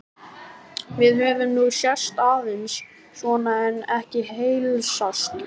Við höfum nú sést aðeins svona en ekki heilsast.